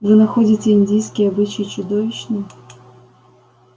вы находите индийский обычай чудовищным